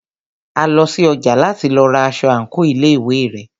A lọ sí ọjà láti lọ ra aṣọ àńkò ilé ìwé rẹ̀.